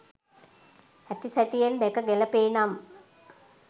ඇති සැටියෙන් දැක ගැලපේ නම්